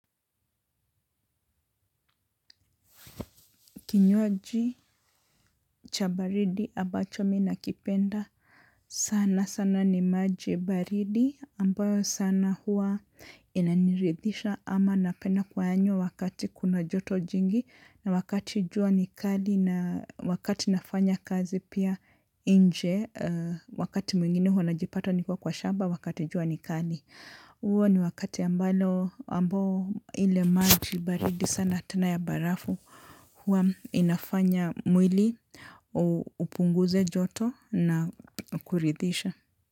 Kinywaji cha baridi ambacho mimi nakipenda sana sana ni maji baridi ambayo sana hua inaniridhisha ama napenda kuyanywa wakati kuna joto jingi na wakati jua nikali na wakati nafanya kazi pia nje wakati mwingine hua najipata nikiwa kwa shamba wakati jua nikali. Huo ni wakati ambalo ambao ile maji baridi sana tena ya barafu huwa inafanya mwili upunguze joto na kuridisha.